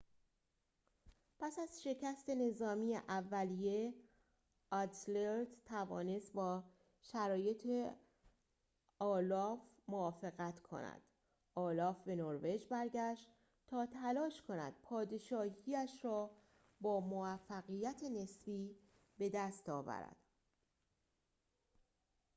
پس از شکست نظامی اولیه اذلرد توانست با شرایط اولاف موافقت کند اولاف به نروژ بازگشت تا تلاش کند پادشاهی‌اش را با موفقیت نسبی بدست آورد